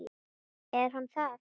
Er hann það?